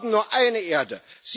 Wir haben nur eine Erde.